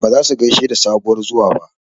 Ba zasu gaishe da sabuwar zuwa ba